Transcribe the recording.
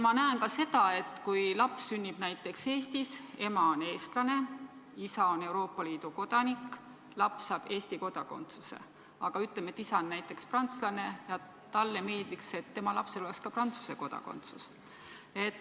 Ma näen ka seda, et kui laps sünnib näiteks Eestis, ema on eestlane, isa on Euroopa Liidu kodanik, laps saab Eesti kodakondsuse, aga ütleme, et isa on näiteks prantslane ja talle meeldiks, et tema lapsel oleks ka Prantsuse kodakondsus.